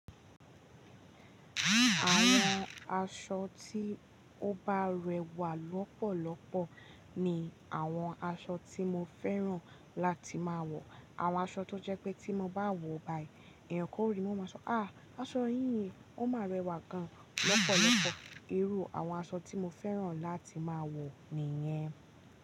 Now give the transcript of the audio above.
Àwọn aṣọ tí ó bá rẹwà lọ́pọ̀lọpọ̀ ni àwọn aṣọ tí mo fẹ́ràn láti máa wọ̀. Àwọn aṣọ tó jẹ́ pé tí mo bá wọ̀ báyìí, èèyàn gan o rí i, wọ́n a máa sọ, "à, aṣọ yìí, ó máa rẹwà gan lọ́pọ̀lọpọ̀." Irú àwọn aṣọ tí mo fẹ́ràn láti máa wọ̀ nìyẹn.